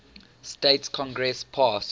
states congress passed